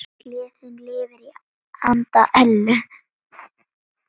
Gleðin lifir í anda Ellu.